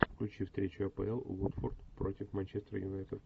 включи встречу апл уотфорд против манчестер юнайтед